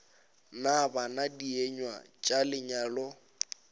na bana dienywa tša lenyalo